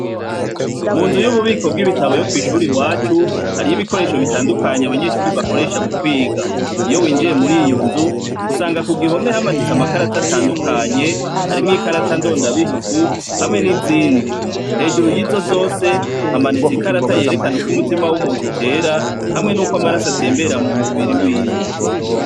Mu nzu y'ububiko bw'ibitabo yo kw'ishura i wacu hariy'ibikoresho bitandukanye abanyeshuri bakoresha mu kwiga iyo winjiye muri iyo nzu gusanga ku gihome hamanitse amakarata atandukanye harimwo ikarata ndondabihugu hamwe n'izindi hejuru y'izo zose hamanitse ikarata yerekana uko umutima w'umuntu tera hamwe n'uko amaraso atembera mu mubiri wiwe.